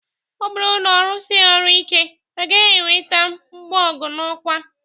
Ọ bụrụ na ọ rụsighị ọrụ ike, ọ gaghị enweta mbugo n'ọkwa.